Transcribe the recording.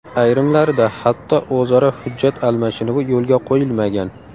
Ayrimlarida hatto o‘zaro hujjat almashinuvi yo‘lga qo‘yilmagan.